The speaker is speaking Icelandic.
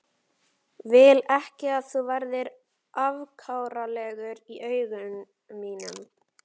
Vil ekki að þú verðir afkáralegur í augum mínum.